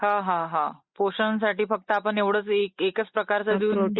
हा हा हा ! पोषण साठी आपण एवढाच एक फक्त एकाच प्रकारच देऊन